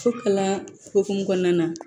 Fo kalan hokumu kɔnɔna na